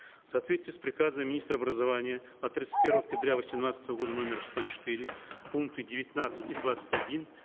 в соответствии с приказом министра образования от тридцать первого октября восемнадцатого года номер сто четыре пункты девятнадцать и двадцать один